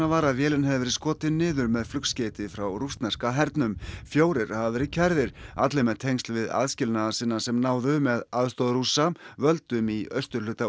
var að vélin hefði verið skotin niður með flugskeyti frá rússneska hernum fjórir hafa verið ákærðir allir með tengsl við aðskilnaðarsinna sem náðu með aðstoð Rússa völdum í austurhluta